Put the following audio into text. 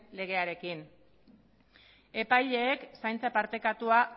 legearekin epaileek zaintza partekatua